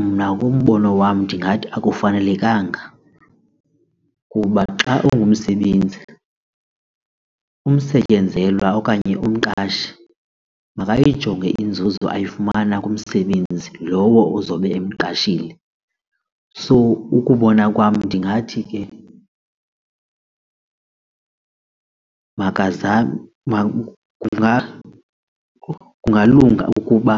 Mna umbono wam ndingathi akufanelekanga kuba xa ungumsebenzi umsetyenzelwa okanye umqashi makayijonge inzuzo ayifumana kumsebenzi lowo uzobe emqashile. So ukubona kwam ndingathi ke makazame kungalunga ukuba